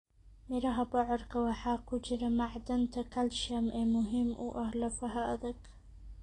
Miraha bocorka waxaa ku jira macdanta calcium ee muhiim u ah lafaha adag.